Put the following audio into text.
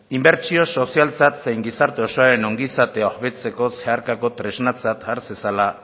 inbertsio sozialtzat zein gizarte osoaren ongizatea hobetzea zeharkako tresnatzat har zezala